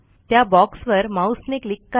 त्या बॉक्सवर माऊसने क्लिक करा